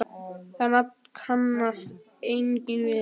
Það nafn kannast enginn við.